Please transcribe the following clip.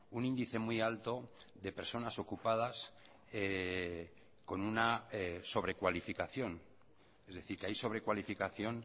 un índice muy alto de personas ocupadas con una sobrecualificación es decir que hay sobrecualificación